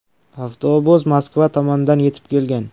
Avtobus Moskva tomondan yetib kelgan.